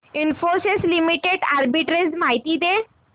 Infosys limited arbitrage माहिती दे